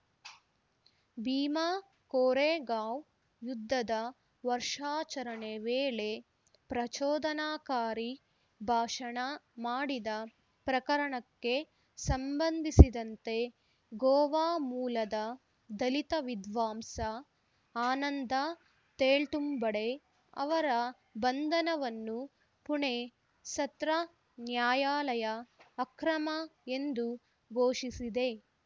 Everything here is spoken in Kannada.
ಭೀಮಾ ಕೋರೇಗಾಂವ್‌ ಯುದ್ಧದ ವರ್ಷಾಚರಣೆ ವೇಳೆ ಪ್ರಚೋದನಕಾರಿ ಭಾಷಣ ಮಾಡಿದ ಪ್ರಕರಣಕ್ಕೆ ಸಂಬಂಧಿಸಿದಂತೆ ಗೋವಾ ಮೂಲದ ದಲಿತ ವಿದ್ವಾಂಸ ಆನಂದ ತೇಳ್ತುಂಬಡೆ ಅವರ ಬಂಧನವನ್ನು ಪುಣೆ ಸತ್ರ ನ್ಯಾಯಾಲಯ ಅಕ್ರಮ ಎಂದು ಘೋಷಿಸಿದೆ